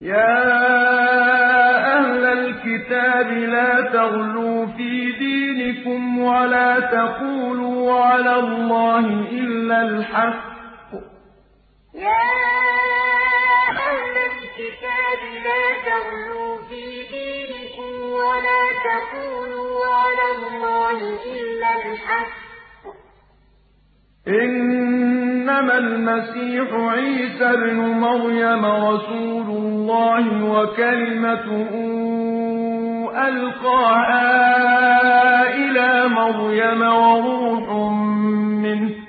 يَا أَهْلَ الْكِتَابِ لَا تَغْلُوا فِي دِينِكُمْ وَلَا تَقُولُوا عَلَى اللَّهِ إِلَّا الْحَقَّ ۚ إِنَّمَا الْمَسِيحُ عِيسَى ابْنُ مَرْيَمَ رَسُولُ اللَّهِ وَكَلِمَتُهُ أَلْقَاهَا إِلَىٰ مَرْيَمَ وَرُوحٌ مِّنْهُ ۖ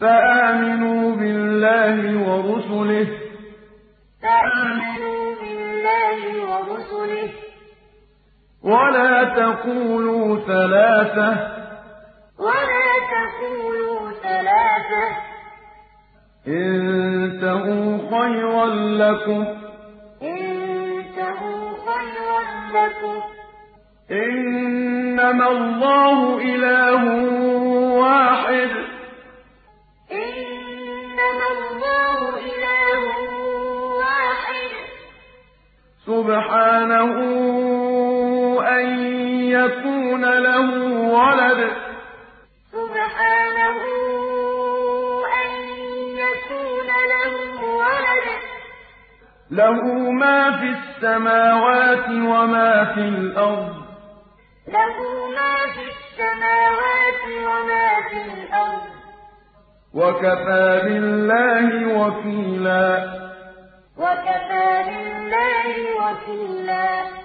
فَآمِنُوا بِاللَّهِ وَرُسُلِهِ ۖ وَلَا تَقُولُوا ثَلَاثَةٌ ۚ انتَهُوا خَيْرًا لَّكُمْ ۚ إِنَّمَا اللَّهُ إِلَٰهٌ وَاحِدٌ ۖ سُبْحَانَهُ أَن يَكُونَ لَهُ وَلَدٌ ۘ لَّهُ مَا فِي السَّمَاوَاتِ وَمَا فِي الْأَرْضِ ۗ وَكَفَىٰ بِاللَّهِ وَكِيلًا يَا أَهْلَ الْكِتَابِ لَا تَغْلُوا فِي دِينِكُمْ وَلَا تَقُولُوا عَلَى اللَّهِ إِلَّا الْحَقَّ ۚ إِنَّمَا الْمَسِيحُ عِيسَى ابْنُ مَرْيَمَ رَسُولُ اللَّهِ وَكَلِمَتُهُ أَلْقَاهَا إِلَىٰ مَرْيَمَ وَرُوحٌ مِّنْهُ ۖ فَآمِنُوا بِاللَّهِ وَرُسُلِهِ ۖ وَلَا تَقُولُوا ثَلَاثَةٌ ۚ انتَهُوا خَيْرًا لَّكُمْ ۚ إِنَّمَا اللَّهُ إِلَٰهٌ وَاحِدٌ ۖ سُبْحَانَهُ أَن يَكُونَ لَهُ وَلَدٌ ۘ لَّهُ مَا فِي السَّمَاوَاتِ وَمَا فِي الْأَرْضِ ۗ وَكَفَىٰ بِاللَّهِ وَكِيلًا